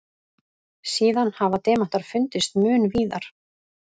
Síðan hafa demantar fundist mun víðar.